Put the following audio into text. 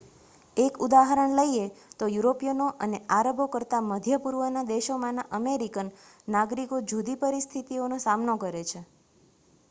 એક ઉદાહરણ લઈએ તો યુરિપિયનો અને આરબો કરતાં મધ્ય પૂર્વના દેશોમાંના અમેરિકન નાગરિકો જુદી પરિસ્થિતિઓનો સામનો કરે છે